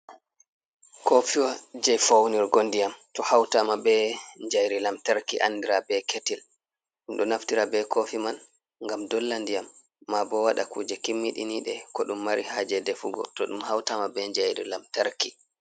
Kofiwa je faunirgo ndiyam to hautama ɓe jayri lamtarki andira ɓe ketil ɗum ɗo naftira ɓe kofi man gam dolla ndiyam ma bo waɗa kuje kimmiɗiniɗe ko ɗum mari haje defugo to ɗum hautama ɓe jayri lamtarki.